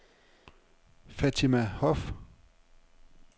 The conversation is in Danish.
Fatima Hoff